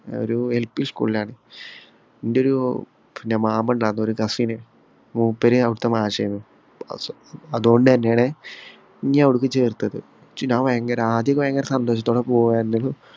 ഒരു LP school ഇലാണ്. എന്‍റെ ഒരു മാമ ഉണ്ടാരുന്നു ഒരു cousin മൂപ്പര് അവിടുത്തെ മാഷാര്ന്ന്. അതുകൊണ്ട് തന്നെയാണ് ഞ്ഞി അവിടേക്ക് ചേർത്തത്. പക്ഷേ ഞാൻ ഭയങ്കര ആദ്യം ഭയങ്കര സന്തോഷത്തോടെ പോവുമായിരുന്നെങ്കിലും